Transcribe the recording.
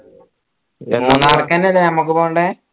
അല്ലെ നമ്മക്ക് പോണ്ടേ